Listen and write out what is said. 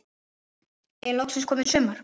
Er loksins komið sumar?